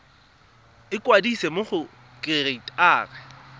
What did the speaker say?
ikwadisa mo go kereite r